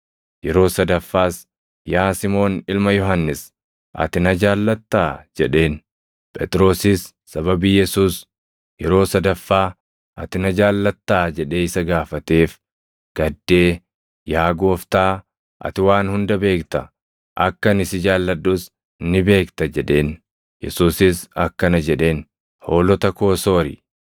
Yeroo sadaffaas, “Yaa Simoon ilma Yohannis, ati na jaallattaa?” jedheen. Phexrosis sababii Yesuus yeroo sadaffaa, “Ati na jaallattaa?” jedhee isa gaafateef gaddee, “Yaa Gooftaa, ati waan hunda beekta; akka ani si jaalladhus ni beekta” jedheen. Yesuusis akkana jedheen; “Hoolota koo soori.